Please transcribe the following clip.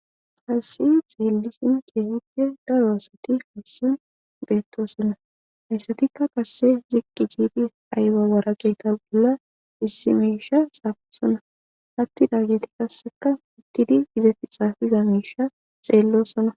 Harsi xeelisin qeefide darosati hussan beettoosona hayssatikka kase ziqqi jiidi aybawarage ta'ula issimisha saafu sona hatti dargeeti kasseka uttidi izafi xaafiza miisha xeellosona